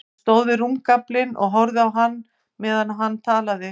Hún stóð við rúmgaflinn og horfði á hann meðan hann talaði.